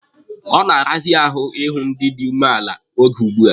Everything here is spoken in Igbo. Ọ na-arazi ahụ ịhụ ndị dị umeala oge ugbua.